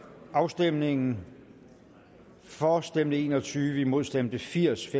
afstemningen for stemte en og tyve imod stemte firs